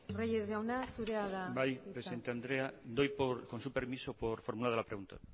reyes jauna zurea da hitza bai presidente andrea doy con su permiso por formulada la pregunta